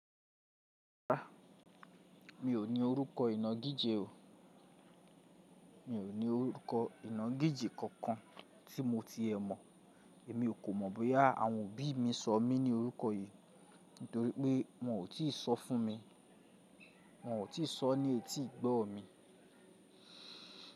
A, mi ò ní orúkọ ìnagijẹ̀ o. Mi ò ní orúkọ ìnagijẹ̀ kankan tí mo ti ẹ̀ mọ̀. Èmi ò kò mọ̀ bóyá àwọn òbí mi sọ mí ní orúkọ yìí nítorí pé wọ́n ò tí sọ fún mi. Wọn ò tí sọ ní etí ìgbọ́ mi.